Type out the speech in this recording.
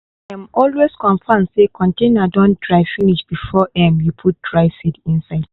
um always confirm say container don dry finish before um you put dry seed inside